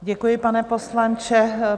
Děkuji, pane poslanče.